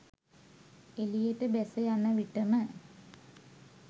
එලියට බැස යන විටම